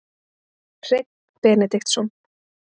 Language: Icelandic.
Hreinn Benediktsson.